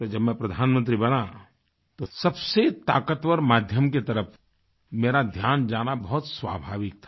तो जब मैं प्रधानमंत्री बना तो सबसे ताकतवर माध्यम की तरफ़ मेरा ध्यान जाना बहुत स्वाभाविक था